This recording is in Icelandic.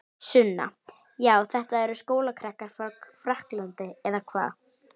Sunna: Já þetta eru skólakrakkar frá Frakklandi eða hvað?